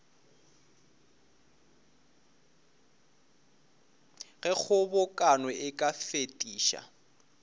ge kgobokano e ka fetiša